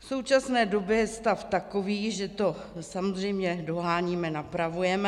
V současné době je stav takový, že to samozřejmě doháníme, napravujeme.